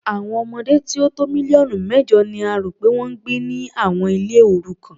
Àwọn ọmọdé tí ó tó mílíọ̀nù mẹ́jọ ni a rò pé wọ́n ń gbé ni àwọn ilé òrukàn.